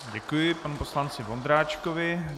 Děkuji panu poslanci Vondráčkovi.